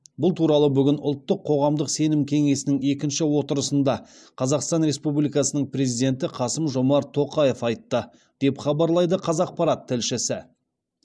бұл туралы бүгін ұлттық қоғамдық сенім кеңесінің екінші отырысында қазақстан республикасының президенті қасым жомарт тоқаев айтты деп хабарлайды қазақпарат тілшісі